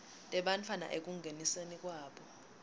tebantfwana ekungeniseni kwabo